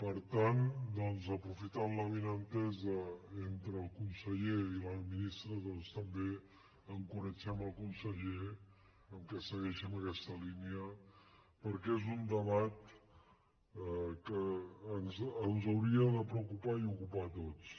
per tant aprofitant l’avinentesa entre el conseller i la minis tra doncs també encoratgem el conseller que segueixi en aquesta línia perquè és un debat que ens hauria de preocupar i ocupar a tots